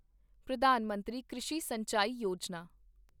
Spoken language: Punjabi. ਪ੍ਰਧਾਨ ਮੰਤਰੀ ਕ੍ਰਿਸ਼ੀ ਸਿੰਚਾਈ ਯੋਜਨਾ